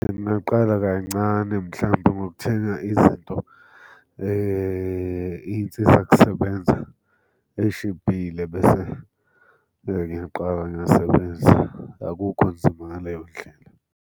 Ngingaqala kancane mhlampe ngokuthenga izinto iy'nsiza kusebenza ey'shibhile bese ngiyaqala ngiyasebenza. Akukho nzima ngaleyo ndlela.